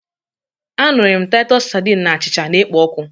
Anụrị m Taịtọs sardine na achịcha na-ekpo ọkụ